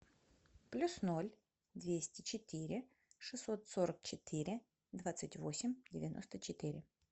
плюс ноль двести четыре шестьсот сорок четыре двадцать восемь девяносто четыре